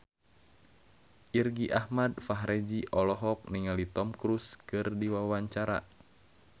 Irgi Ahmad Fahrezi olohok ningali Tom Cruise keur diwawancara